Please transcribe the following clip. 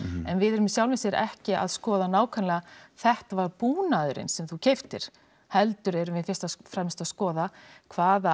en við erum í sjálfu sér ekki að skoða þetta var búnaðurinn sem þú keyptir heldur erum við fyrst og fremst að skoða hvaða